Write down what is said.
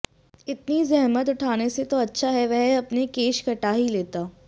इतनी जहमत उठाने से तो अच्छा है वह अपने केश कटा ही लेता